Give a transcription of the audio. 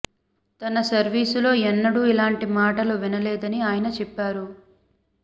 తన సర్వీసులో ఎన్నడూ ఇలాంటి మాటలు వినలేదని ఆయన చెప్పారు